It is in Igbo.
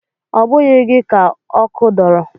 Ọ bụghị gị ka ọkụ dọrọ?